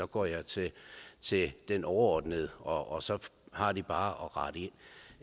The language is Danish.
går jeg til til den overordnede og så har de bare